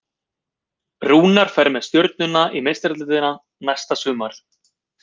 Rúnar fer með Stjörnuna í Meistaradeildina næsta sumar.